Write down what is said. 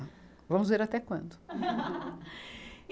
Vamos ver até quando.